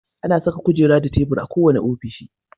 Ana saka kujera da tebur a kowane ofishi.